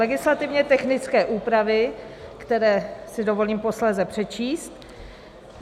Legislativně technické úpravy, které si dovolím posléze přečíst.